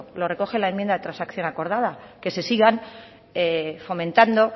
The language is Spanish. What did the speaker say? lo recoge la enmienda transacción acordada que se sigan fomentando